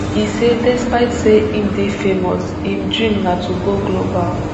e say despite say im dey famous im dream na to go global